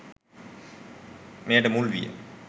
මෙයට මුල්විය.